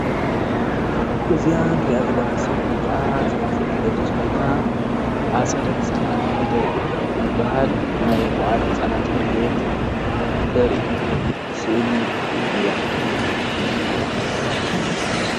እዚኣ እንሪኣ ዘለና ስእሊ ከዓ ትምህርቲ ትገልፅ ኮይና ኣፀደ ህፃናት ፊደል ዝብሃል ናይ መዋእለ ህፃናት ትምህርቲ ቤት ተርኢ ስእሊ እያ፡፡